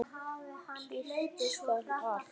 Kyrrt skal allt.